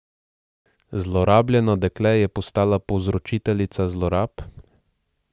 Zlorabljeno dekle je postalo povzročiteljica zlorab?